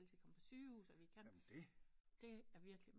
Altid komme på sygehus og vi kan det er virkelig